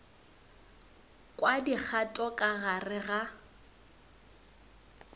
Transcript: kwa dikgato ka gare ga